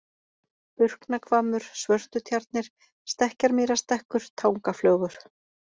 Burknahvammur, Svörtutjarnir, Stekkjarmýrarstekkur, Tangaflögur